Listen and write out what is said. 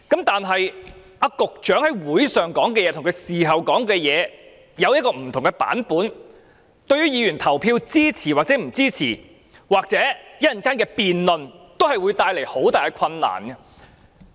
但是，局長在大會上說的話，與他事後說的，有不同的版本，對於議員是否投票支持或稍後的辯論，都會帶來很大的困難。